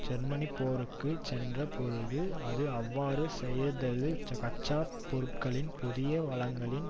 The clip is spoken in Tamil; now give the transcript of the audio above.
ஜெர்மனி போருக்கு சென்ற பொழுது அது அவ்வாறு செய்தது கச்சா பொருட்களின் புதிய வளங்களின்